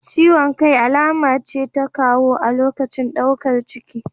Ciwon kai alama ce ta kowa a lokacin daukar ciki.